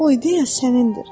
O ideya sənindir.